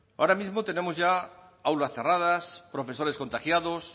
ahora mismo tenemos ya aulas cerradas profesores contagiados